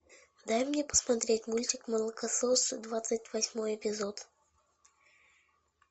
дай мне посмотреть мультик молокососы двадцать восьмой эпизод